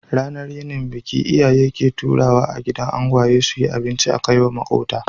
Ranar yinin biki, iyaye ke taruwa a gidan angwaye suki abinci akaiwa makota